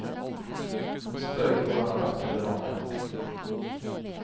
Hun spør ikke hvor han har vært eller hva han har gjort.